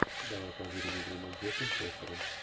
давай позырим игру манчестер с лестером